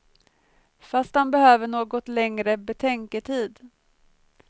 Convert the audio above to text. Fast han behövde något längre betänketid.